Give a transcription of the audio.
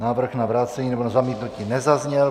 Návrh na vrácení nebo na zamítnutí nezazněl.